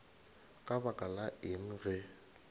ka lebaka la eng ge